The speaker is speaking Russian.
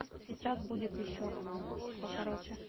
сейчас будет ещё покороче